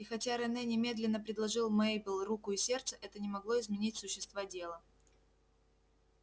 и хотя рене немедленно предложил мейбелл руку и сердце это не могло изменить существа дела